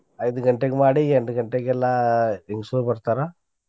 ಐದ್ ಗಂಟೆಗ್ ಮಾಡಿ ಎಂಟ್ ಗಂಟೆಗೆಲ್ಲಾ ಹೆಂಗ್ಸುರ್ ಬರ್ತಾರ.